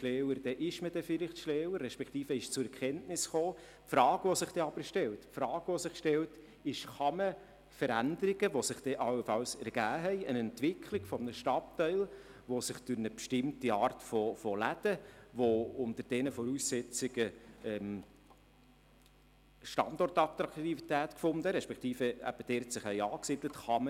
Dann ist man vielleicht schlauer, aber es stellt sich die Frage, ob man die Veränderungen, die sich infolge dieser Gesetzesänderung im Stadtteil ergeben haben – beispielsweise Läden, die unter den neuen Voraussetzungen Standortattraktivität gefunden respektive die sich dort angesiedelt haben –, wieder rückgängig gemacht werden können.